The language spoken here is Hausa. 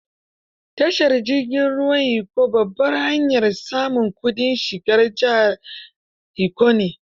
Tashar jirgin ruwan Ikko, babbar hanyar samun kudin shigar jihar Ikko ne.